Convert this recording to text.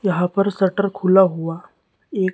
यहां पर शटर खुला हुआ एक--